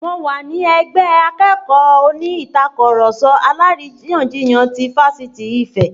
Mo wà ní ẹgbẹ́ akẹ́kọ̀ọ́ oní Ìtàkurọ̀sọ alárìyanjiyàn ti Fáṣítì Ife